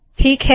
ठीक है